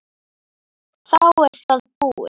Þá er það búið.